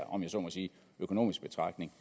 om jeg så må sige økonomiske betragtning